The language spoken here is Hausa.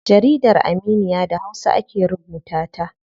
Jaridar Aminiya da hausa ake rubuta ta.